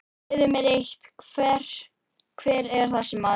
Segðu mér eitt, hver er þessi maður?